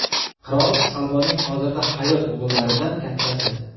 Qirol Salmonning hozirda hayot o‘g‘illaridan kattasi.